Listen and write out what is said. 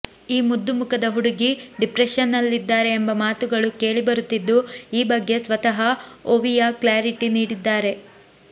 ಈ ಮುದ್ದು ಮುಖದ ಹುಡುಗಿ ಡಿಪ್ರೆಷನ್ನಲ್ಲಿದ್ದಾರೆ ಎಂಬ ಮಾತುಗಳು ಕೇಳಿ ಬರುತ್ತಿದ್ದು ಈ ಬಗ್ಗೆ ಸ್ವತಃ ಒವಿಯಾ ಕ್ಲಾರಿಟಿ ನೀಡಿದ್ದಾರೆ